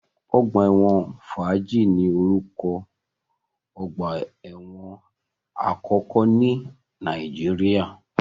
Ọgbà ẹ̀wọ̀n Fájì ni oruko ogbà ẹ̀wọ̀n àkọ́kọ́ ní Nàìjíríà